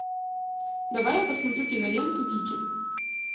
давай я посмотрю киноленту викинг